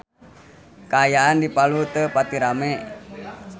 Kaayaan di Palu teu pati rame